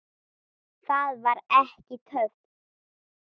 Það var ekki töff.